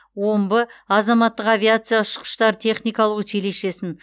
омбы азаматтық авиация ұшқыштар техникалық училищесін